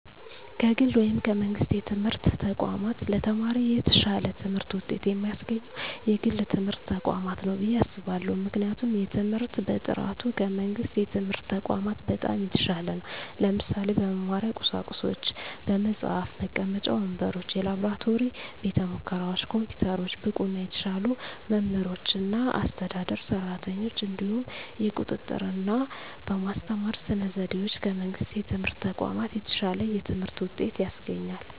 ከግል ወይም ከመንግሥት የትምህርት ተቋማት ለተማሪ የተሻለ ትምህርት ውጤት የሚያስገኘው የግል ትምህርት ተቋማት ነው ብየ አስባለሁ ምክንያቱም የትምህርት በጥራቱ ከመንግስት የትምህርት ተቋማት በጣም የተሻለ ነው ለምሳሌ - በመማሪያ ቁሳቁሶች በመፅሀፍ፣ መቀመጫ ወንበሮች፣ የላብራቶሪ ቤተሙከራዎች፣ ኮምፒውተሮች፣ ብቁና የተሻሉ መምህራኖችና አስተዳደር ሰራተኞች፣ እንዲሁም የቁጥጥ ርና በማስተማር ስነ ዘዴዎች ከመንግስት የትምህርት ተቋማት የተሻለ የትምህርት ውጤት ያስገኛል።